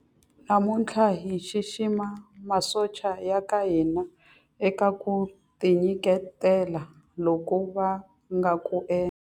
Namuntlha hi xixima masocha ya ka hina eka ku tinyiketela loku va nga ku endla.